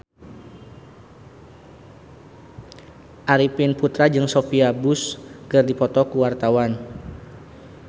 Arifin Putra jeung Sophia Bush keur dipoto ku wartawan